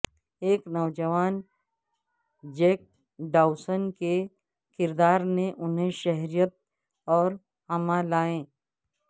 ایک نوجوان Jack Dawson کے کردار نے انہیں شہرت اور عما لائے